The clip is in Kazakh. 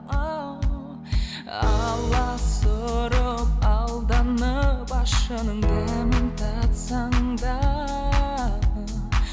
аласұрып алданып ащының дәмін татсаң да